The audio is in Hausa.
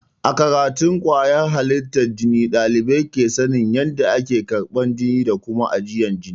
A karatun kwayyar halittar jini ɗalibai ke sanin ƴanda ake karban jini da Kuma ajiyan jini.